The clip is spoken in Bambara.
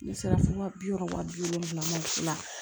Ne sera fo waa bi wɔɔrɔ wa bi wolonwula